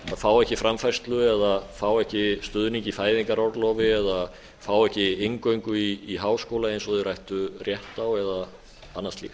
fá ekki framfærslu eða fá ekki stuðning í fæðingarorlofi eða fá ekki inngöngu í háskóla eins og þeir ættu rétt á eða annað slíkt